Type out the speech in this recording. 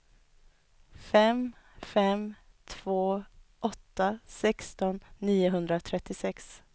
fem fem två åtta sexton niohundratrettiosex